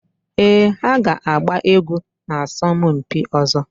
Éè ha ga-agba egwu na asọmpi ọzọ